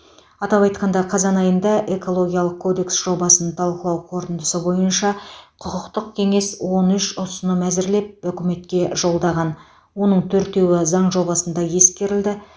атап айтқанда қазан айында экологиялық кодекс жобасын талқылау қорытындысы бойынша құқықтық кеңес он үш ұсыным әзірлеп үкіметке жолдаған оның төртеуі заң жобасында ескерілді